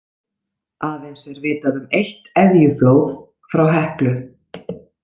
Aðeins er vitað um eitt eðjuflóð frá Heklu.